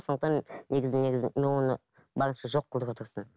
сондықтан негізі негізі мен оны барынша жоқ қылуға тырыстым